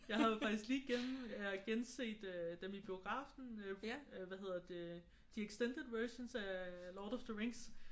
Jeg havde faktisk lige gen jeg har genset øh dem i biografen øh hvad hedder det de extended versions af Lord of the Rings